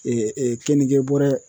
kenige bɔrɛ